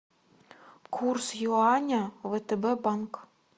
курс юаня втб банк